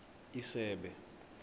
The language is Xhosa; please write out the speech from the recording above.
isebe